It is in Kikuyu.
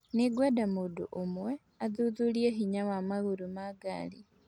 Nĩ ngwenda mũndũ ũmwe athuthurie hinya wa magũrũ ma ngari